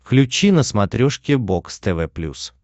включи на смотрешке бокс тв плюс